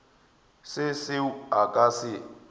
se seo a ka se